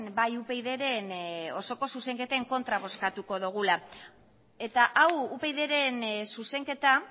bai upydren osoko zuzenketen kontra bozkatuko dugula eta hau upydren zuzenketa